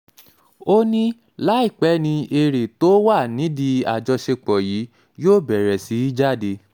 ó ní láìpẹ́ ni eré tó wà nídìí àjọṣepọ̀ yìí yóò bẹ̀rẹ̀ sí í jáde